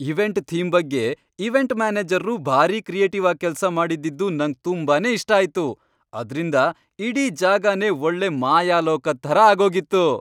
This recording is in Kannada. ಇವೆಂಟ್ ಥೀಮ್ ಬಗ್ಗೆ ಇವೆಂಟ್ ಮ್ಯಾನೇಜರ್ರು ಭಾರಿ ಕ್ರಿಯೇಟಿವ್ ಆಗ್ ಕೆಲ್ಸ ಮಾಡಿದ್ದಿದ್ದು ನಂಗ್ ತುಂಬಾನೇ ಇಷ್ಟ ಆಯ್ತು, ಅದ್ರಿಂದ ಇಡೀ ಜಾಗನೇ ಒಳ್ಳೆ ಮಾಯಾಲೋಕದ್ ಥರ ಆಗೋಗಿತ್ತು.